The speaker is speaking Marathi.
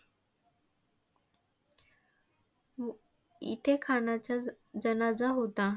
इथे खानाचा जनाजा होता.